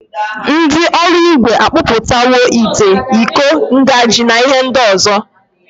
Ndi oruigwe akpoputawo ite, Iko, njagi na ihe ndi ozo.